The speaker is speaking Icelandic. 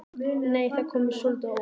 Nei! Það kom mér svolítið á óvart!